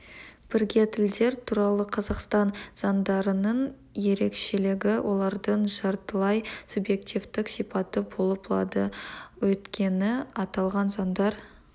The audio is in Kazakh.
бірге тілдер туралы қазақстан заңдарының ерекшелігі олардың жартылай субъективтік сипаты болып лады өйткені аталған заңдар